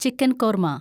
chicken korma